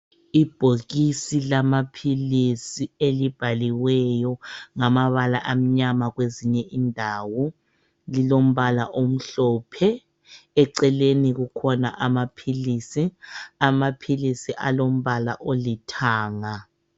Ibhokisi lamaphilisi elibhaliweyo ngamabala amnyama kwezinye indawo lilombala omhlophe eceleni kukhona kulamaphilisi, amaphilisi alombala olithanga.